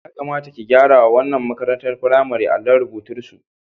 Ya kamata ki gyarawa wannan makarantar firamaren allon rurbutusu.